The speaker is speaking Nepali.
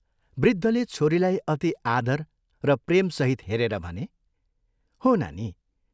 वृद्धले छोरीलाई अति आदर र प्रेमसहित हेरेर भने, हो नानी।